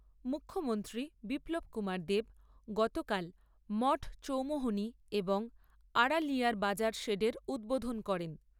মুখ্যমন্ত্রী বিপ্লব কুমার দেব গতকাল মঠ চৌমুহনী এবং আড়ালিয়ার বাজার শেডের উদ্বোধন করেন।